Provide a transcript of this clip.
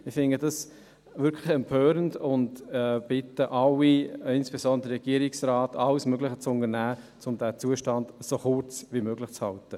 Ich finde das wirklich empörend und bitte alle, insbesondere den Regierungsrat, alles zu unternehmen, um diesen Zustand so kurz wie möglich zu halten.